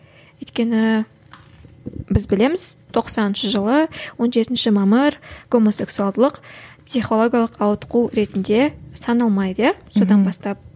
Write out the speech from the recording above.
өйткені біз білеміз тоқсаныншы жылы он жетінші мамыр гомосексуалдылық психологиялық ауытқу ретінде саналмайды иә содан бастап